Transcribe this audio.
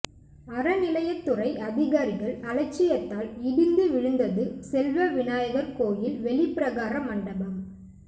அறநிலையத்துறை அதிகாரிகள் அலட்சியத்தால் இடிந்து விழுந்தது செல்வ விநாயகர் கோயில் வெளிப்பிரகார மண்டபம்